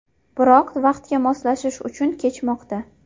Biroq vaqtga moslashish qiyin kechmoqda.